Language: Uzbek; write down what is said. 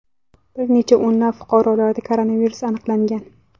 Bir necha o‘nlab fuqarolarda koronavirus aniqlangan .